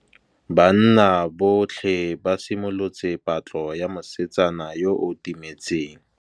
Banna botlhê ba simolotse patlô ya mosetsana yo o timetseng.